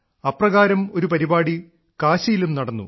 അപ്രകാരം ഒരു പരിപാടി കാശിയിലും നടന്നു